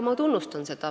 Ma tunnustan seda.